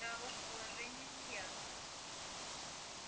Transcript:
да ваше положение мне ясно